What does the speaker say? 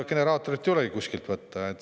Generaatorit ei ole kuskilt võtta.